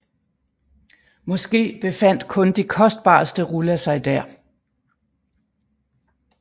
Måske befandt kun de kostbareste ruller sig der